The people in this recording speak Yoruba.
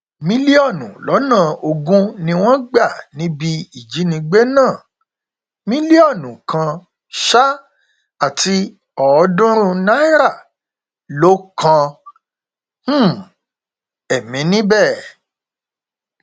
mílíọnù lọnà ogún ni wọn gbà níbi ìjínigbé náà mílíọnù kan um àti ọọdúnrún náírà ló kan um ẹmí níbẹ